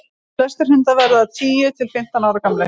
flestir hundar verða tíu til fimmtán ára gamlir